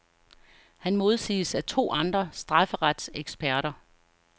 Han modsiges af to andre strafferetseksperter.